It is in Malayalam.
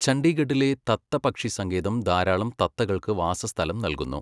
ചണ്ഡീഗഢിലെ തത്ത പക്ഷി സങ്കേതം ധാരാളം തത്തകൾക്ക് വാസസ്ഥലം നൽകുന്നു.